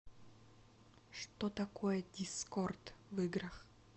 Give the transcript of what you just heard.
что такое дискорд в играх